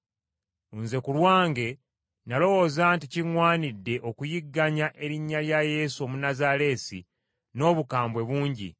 “Nze ku lwange nalowooza nti kiŋŋwanidde okuyigganya erinnya lya Yesu Omunnazaaleesi, n’obukambwe bungi.